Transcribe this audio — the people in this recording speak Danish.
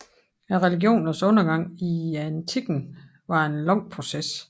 Religionernes undergang i antikken var en lang proces